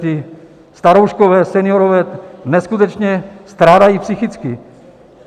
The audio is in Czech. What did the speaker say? Ti starouškové, seniorové, neskutečně strádají psychicky.